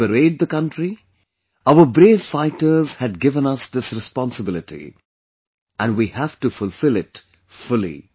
To liberate the country, our brave fighters had given us this responsibility, and we have to fulfill it fully